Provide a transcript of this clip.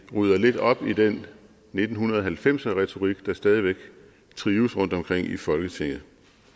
rydder lidt op i den nitten halvfems er retorik der stadig væk trives rundtomkring i folketinget